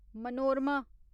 Manorama